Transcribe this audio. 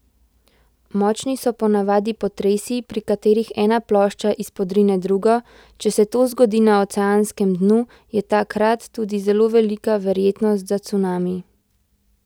Močni so ponavadi potresi, pri katerih ena plošča izpodrine drugo, če se to zgodi na oceanskem dnu, je takrat tudi zelo velika verjetno za cunami.